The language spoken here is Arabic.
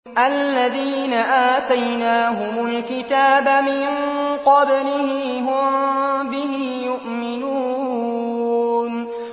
الَّذِينَ آتَيْنَاهُمُ الْكِتَابَ مِن قَبْلِهِ هُم بِهِ يُؤْمِنُونَ